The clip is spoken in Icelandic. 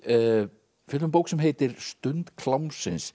fjöllum um bók sem heitir stund klámsins